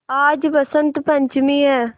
आज बसंत पंचमी हैं